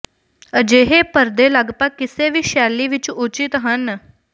ਅਜਿਹੇ ਪਰਦੇ ਲਗਭਗ ਕਿਸੇ ਵੀ ਸ਼ੈਲੀ ਵਿੱਚ ਉਚਿਤ ਹਨ